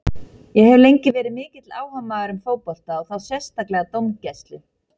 Ég hef lengi verið mikill áhugamaður um fótbolta og þá sérstaklega dómgæslu.